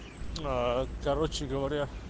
короче говоря